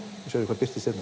þá sérðu hvað birtist hérna